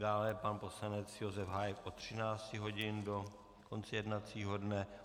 Dále pan poslanec Josef Hájek od 13 hodin do konce jednacího dne.